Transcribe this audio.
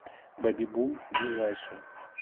бэбибум ближайший